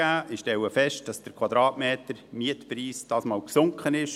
Ich stelle fest, dass der Quadratmetermietpreis diesmal gesunken ist.